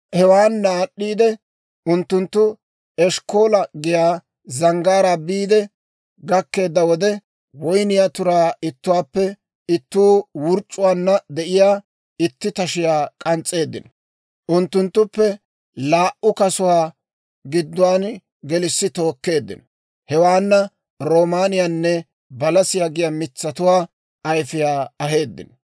Hewaana aad'd'iidde, Unttunttu Eshkkoola giyaa zanggaaraa biide gakkeedda wode, woyniyaa turaa ittuwaappe itti wurc'c'uwaanna de'iyaa itti tashiyaa k'ans's'eeddino; unttunttuppe laa"u kasuwaa gidduwaan gelissi tookkeeddino. Hewaana roomaaniyaanne balasiyaa giyaa mitsatuwaa ayfiyaa aheeddino.